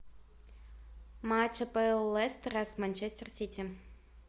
матч апл лестера с манчестер сити